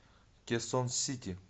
кесон сити